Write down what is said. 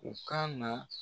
U ka na